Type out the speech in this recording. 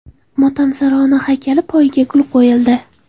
Motamsaro ona haykali poyiga gul qo‘yildi.